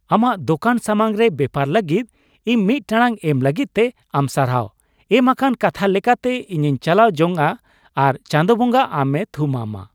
ᱟᱢᱟᱜ ᱫᱚᱠᱟᱱ ᱥᱟᱢᱟᱝ ᱨᱮ ᱵᱮᱯᱟᱨ ᱞᱟᱹᱜᱤᱫ ᱤᱧ ᱢᱤᱫ ᱴᱟᱲᱟᱝ ᱮᱢ ᱞᱟᱹᱜᱤᱫ ᱛᱮ ᱟᱢ ᱥᱟᱨᱦᱟᱣ ᱾ ᱮᱢ ᱟᱠᱟᱱ ᱠᱟᱛᱷᱟ ᱞᱮᱠᱟᱛᱮ ᱤᱧᱤᱧ ᱪᱟᱞᱟᱣ ᱡᱚᱝᱼᱟ, ᱟᱨ ᱪᱟᱸᱫᱳ ᱵᱚᱸᱜᱟ ᱟᱢᱮ ᱛᱷᱩᱢᱟᱢᱼᱢᱟ ᱾ (ᱟᱹᱠᱷᱨᱤᱧᱤᱡ)